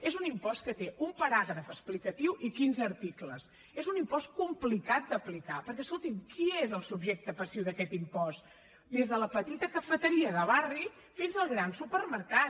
és un impost que té un paràgraf explicatiu i quinze articles és un impost complicat d’aplicar perquè escolti’m qui és el subjecte passiu d’aquest impost des de la petita cafeteria de barri fins al gran supermercat